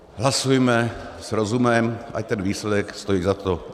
Hlasujme s rozumem, ať ten výsledek stojí za to.